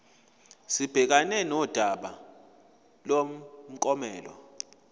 sibhekane nodaba lomklomelo